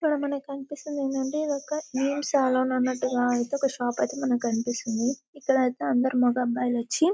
ఇక్కడ మనకు కనిపిస్తున్నది ఏమిటి అంటే ఇది ఒక నెల్ సెల్లూన్ అన్నటుగా అయితే ఒక షాప్ అయితే మనకు కనిపిస్తోంది. ఇక్కడ ఐతే అందరు మొగఅబ్బాయిలు వచ్చి --